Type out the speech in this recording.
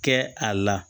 Kɛ a la